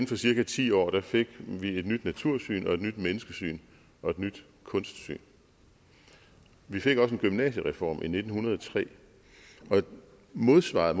for cirka ti år fik et nyt natursyn et nyt menneskesyn og et nyt kunstsyn vi fik også en gymnasiereform i nitten hundrede og tre og modsvaret